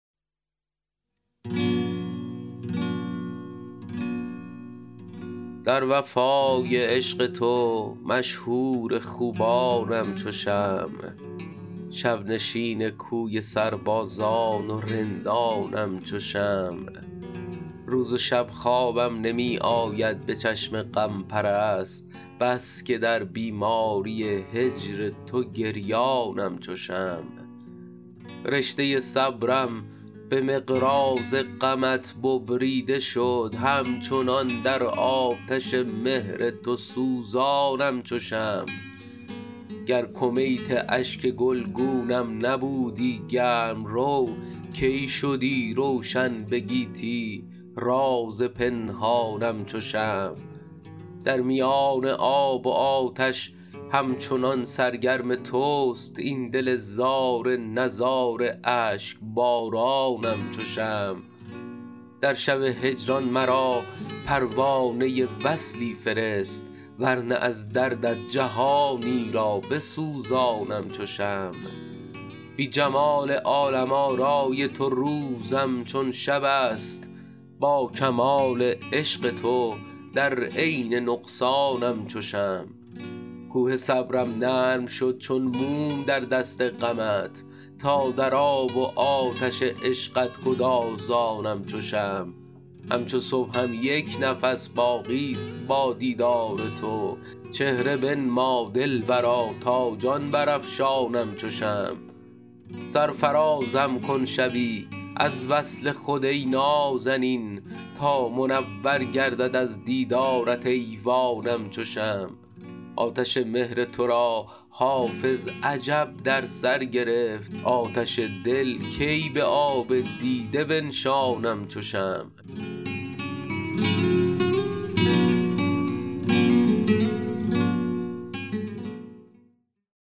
در وفای عشق تو مشهور خوبانم چو شمع شب نشین کوی سربازان و رندانم چو شمع روز و شب خوابم نمی آید به چشم غم پرست بس که در بیماری هجر تو گریانم چو شمع رشته صبرم به مقراض غمت ببریده شد همچنان در آتش مهر تو سوزانم چو شمع گر کمیت اشک گلگونم نبودی گرم رو کی شدی روشن به گیتی راز پنهانم چو شمع در میان آب و آتش همچنان سرگرم توست این دل زار نزار اشک بارانم چو شمع در شب هجران مرا پروانه وصلی فرست ور نه از دردت جهانی را بسوزانم چو شمع بی جمال عالم آرای تو روزم چون شب است با کمال عشق تو در عین نقصانم چو شمع کوه صبرم نرم شد چون موم در دست غمت تا در آب و آتش عشقت گدازانم چو شمع همچو صبحم یک نفس باقی ست با دیدار تو چهره بنما دلبرا تا جان برافشانم چو شمع سرفرازم کن شبی از وصل خود ای نازنین تا منور گردد از دیدارت ایوانم چو شمع آتش مهر تو را حافظ عجب در سر گرفت آتش دل کی به آب دیده بنشانم چو شمع